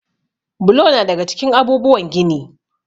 Bulo na daga cikin abubuwan gini.